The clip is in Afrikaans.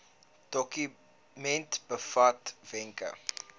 dokument bevat wenke